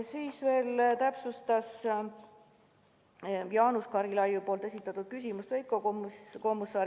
Veiko Kommusaar täpsustas vastust Jaanus Karilaidi esitatud küsimusele.